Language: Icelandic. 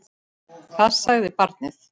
Hvað sagði barnið?